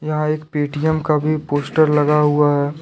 यह एक पेटीएम का भी पोस्टर लगा हुआ है।